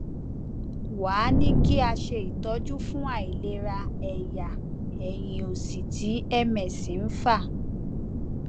wá a ní kí a ṣe itọju fún àìlera ẹyà ẹyìn òsì tí ms ń fà